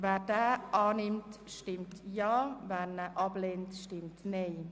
Wer diese Planungserklärung annimmt, stimmt Ja, wer diese ablehnt, stimmt Nein.